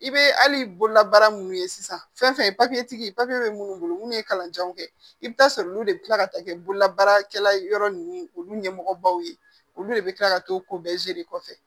I bɛ hali bololabaara minnu ye sisan fɛn fɛn bɛ minnu bolo munnu ye kalanjanw kɛ i bɛ taa sɔrɔ olu de bɛ tila ka taa kɛ bololabaarakɛla yɔrɔ ninnu olu ɲɛmɔgɔbaw ye olu de bɛ kila ka t'o ko bɛɛ kɔfɛ